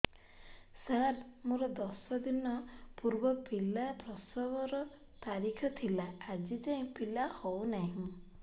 ସାର ମୋର ଦଶ ଦିନ ପୂର୍ବ ପିଲା ପ୍ରସଵ ର ତାରିଖ ଥିଲା ଆଜି ଯାଇଁ ପିଲା ହଉ ନାହିଁ